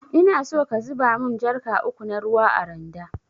Inaso ka zuba mun jarka uku na ruwa a randa.